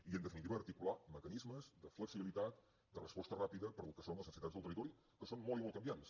i en definitiva articular mecanismes de flexibilitat de resposta ràpida per al que són les necessitats del territori que són molt i molt canviants